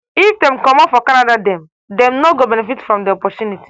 if dem comot for canada dem dem no go benefit from di opportunity.